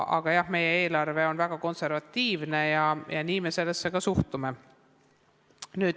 Aga jah, meie eelarve on väga konservatiivne ja nii me sellesse ka suhtume.